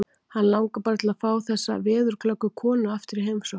Hann langar bara til að fá þessa veðurglöggu konu aftur í heimsókn.